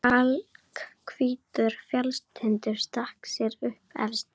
Kalkhvítur fjallstindur stakk sér upp efst.